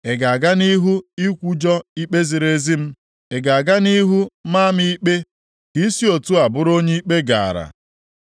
“Ị ga-aga nʼihu ikwujọ ikpe ziri ezi m? Ị ga-aga nʼihu maa m ikpe ka ị si otu a bụrụ onye ikpe gaara?